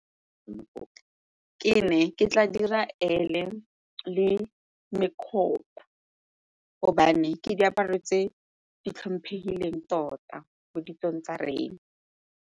Ke ne ke tla dira gobane ke diaparo tse di tlhomphegileng tota mo ditsong tsa rena.